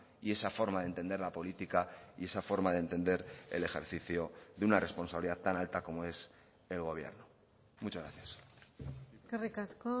y esa forma de entender la política y esa forma de entender el ejercicio de una responsabilidad tan alta como es el gobierno muchas gracias eskerrik asko